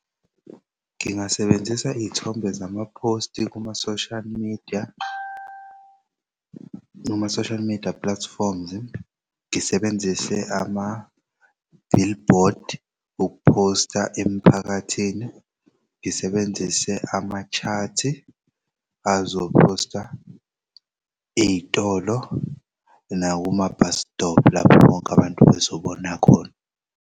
Ngingasebenzisa iy'thombe zama-post kuma-social media, kuma-social media platforms ngisebenzise ama-billboards ukuphosta emiphakathini, ngisebenzise ama-chat azophosta iy'tolo nakuma-bus stop lapho bonke abantu bezobona khona.